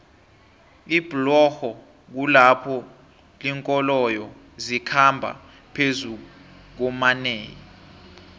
iblorho kulapho linkoloyo zikhamba phezukuomanei